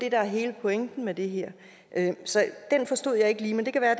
er hele pointen med det her så den forstod jeg ikke lige men det kan være